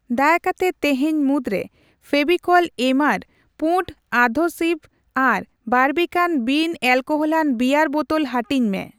ᱫᱟᱭᱟ ᱠᱟᱛᱮ ᱛᱤᱦᱤᱧ ᱢᱩᱫᱨᱮ ᱯᱷᱮᱣᱤᱠᱚᱞ ᱮᱢᱟᱨ ᱯᱩᱱᱰ ᱟᱫᱷᱮᱥᱤᱵᱷ ᱟᱨ ᱵᱟᱨᱵᱤᱠᱟᱱ ᱵᱤᱱ ᱮᱞᱠᱳᱦᱚᱞᱟᱱ ᱵᱤᱭᱟᱨ ᱵᱳᱛᱳᱞ ᱦᱟᱹᱴᱤᱧ ᱢᱮ ᱾